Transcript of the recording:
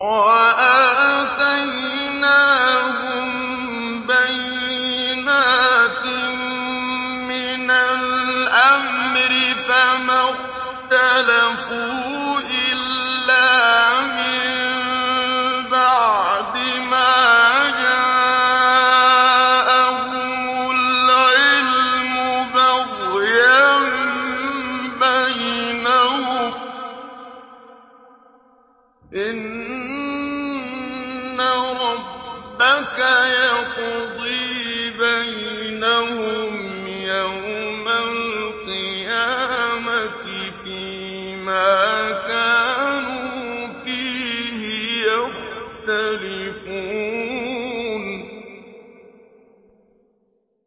وَآتَيْنَاهُم بَيِّنَاتٍ مِّنَ الْأَمْرِ ۖ فَمَا اخْتَلَفُوا إِلَّا مِن بَعْدِ مَا جَاءَهُمُ الْعِلْمُ بَغْيًا بَيْنَهُمْ ۚ إِنَّ رَبَّكَ يَقْضِي بَيْنَهُمْ يَوْمَ الْقِيَامَةِ فِيمَا كَانُوا فِيهِ يَخْتَلِفُونَ